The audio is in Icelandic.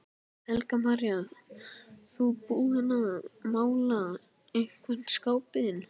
Helga María: Þú búinn að mála einhvern skápinn?